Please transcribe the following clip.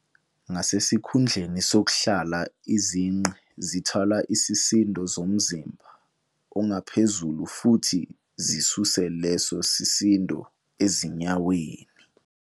Ngasesikhundleni sokuhlala, izinqe zithwala isisindo somzimba ongaphezulu futhi zisuse leso sisindo ezinyaweni.